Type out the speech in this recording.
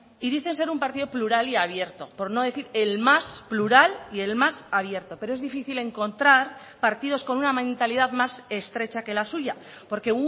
y dicen ser un partido plural y abierto por no decir el más plural y el más abierto pero es difícil encontrar partidos con una mentalidad más estrecha que la suya porque